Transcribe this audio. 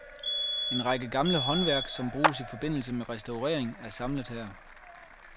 En række gamle håndværk, som bruges i forbindelse med restaurering er samlet her.